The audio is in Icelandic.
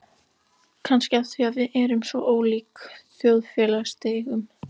Kannski af því við erum af svo ólíkum þjóðfélagsstigum.